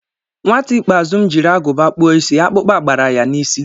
Nwata ikpeazụ m jiri Agụba kpụọ isi, akpukpa gbara ya n'isi